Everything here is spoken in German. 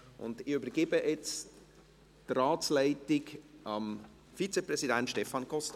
Ich übergebe die Ratsleitung dem Vizepräsidenten Stefan Costa.